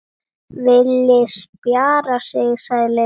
Villi spjarar sig, sagði Lilli.